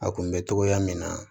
A kun bɛ togoya min na